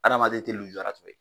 Adamaden tɛ lujurato ye.